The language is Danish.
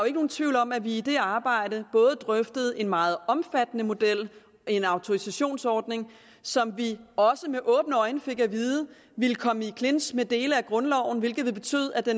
ikke nogen tvivl om at vi i det arbejde drøftede en meget omfattende model en autorisationsordning som vi også med åbne øjne fik at vide ville komme i clinch med dele af grundloven hvilket ville betyde at det